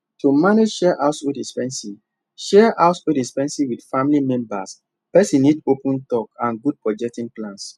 to manage shared household expenses shared household expenses with family members person need open talk and good budgeting plans